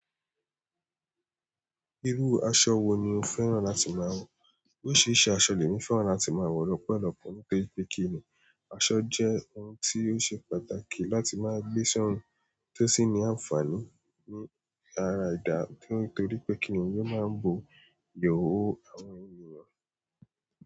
Irú aṣọ wo ni o féràn láti máa wọ̀? Ó ṣe é ṣe aṣọ lé ìfé hà láti máa wọ̀ lọ́pọ̀lọpọ̀ nítorí pé kíni, aṣọ jẹ́ ohun tí ó ṣe pàtàkì láti máa gbé ṣọ́rùn tí ó sì ní ànfààní ní ara edà nítorí pé kíni yóò máa ń bo ìhòòhò àwọn ẹ̀yàn mọ́